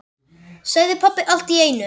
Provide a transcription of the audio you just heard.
sagði pabbi allt í einu.